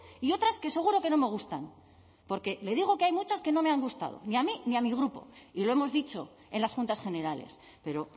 y otras que seguro que no me gustan porque le digo que hay muchas que no me han gustado ni a mí ni a mi grupo y lo hemos dicho en las juntas generales pero